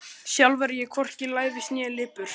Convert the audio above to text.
Sjálf er ég hvorki lævís né lipur.